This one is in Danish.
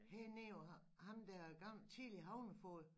Hernede og ham ham der er gammel tidligere havnefoged